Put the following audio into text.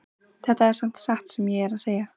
Þetta er samt satt sem ég er að segja